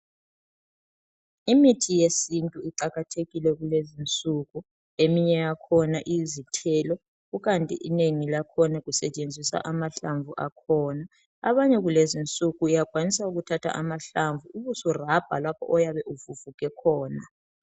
Imithi yesintu iqakathekile kulezinsuku; eminye yakhona iyizithelo kukanti inengi lakhona kusetshenziswa amahlamvu akhona abanye kulezinsuku uyakwanisa ukuthatha amahlamvu ubusu rub lapho oyabe uvuvuke khona.